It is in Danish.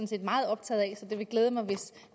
set meget optaget af så det ville glæde mig